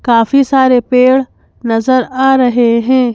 काफी सारे पेड़ नजर आ रहे हैं।